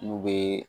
N'u bɛ